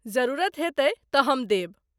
जरूरत हेतै तँ हम देब।